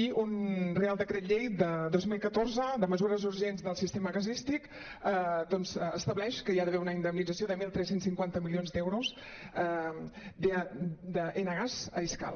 i un reial decret llei de dos mil catorze de mesures urgents del sistema gasístic doncs estableix que hi ha d’haver una indemnització de tretze cinquanta milions d’euros d’enagas a escal